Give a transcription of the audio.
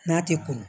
N'a tɛ ko